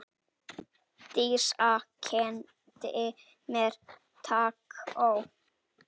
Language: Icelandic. Dísa kenndi mér tangó.